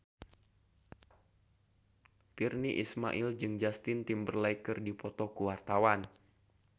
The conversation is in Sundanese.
Virnie Ismail jeung Justin Timberlake keur dipoto ku wartawan